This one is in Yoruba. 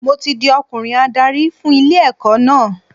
Mo ti di ọkùnrin adarí fún ilé ẹ̀kọ́ náà.